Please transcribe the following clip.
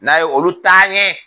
N'a ye olu taa ɲɛ